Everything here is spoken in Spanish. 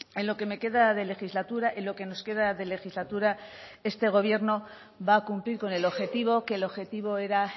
en lo que me queda de legislatura en lo que nos queda de legislatura este gobierno va a cumplir con el objetivo que el objetivo era